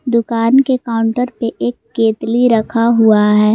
दुकान के काउंटर पे एक केतली रखा हुआ है।